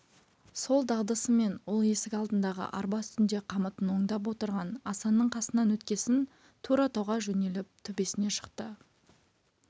сол дағдысымен ол есік алдындағы арба үстінде қамытын оңдап отырған асанның қасынан өткесін тура тауға жөнеліп төбесіне шықты